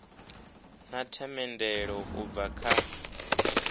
na themendelo u bva kha